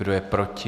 Kdo je proti?